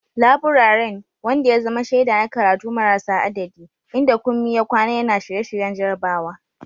Laburaren, wanda ya zama shaida na karatu marasa adadi, inda Kunmi ya kwana yana shirye-shiryen jarabawa.